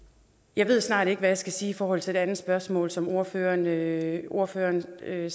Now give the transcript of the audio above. jeg ved snart ikke hvad jeg skal sige i forhold til det andet spørgsmål som ordføreren ordføreren stillede